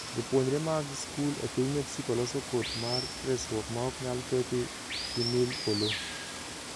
Jopuonjre mag skul e piny Mexico loso koti mar resruok maok nyal keth gi mil polo